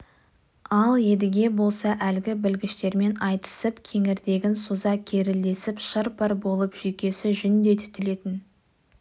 ал едіге болса әлгі білгіштермен айтысып кеңірдегін соза керілдесіп шыр-пыр болып жүйкесі жүндей түтілетін